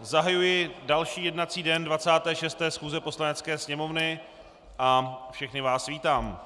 zahajuji další jednací den 26. schůze Poslanecké sněmovny a všechny vás vítám.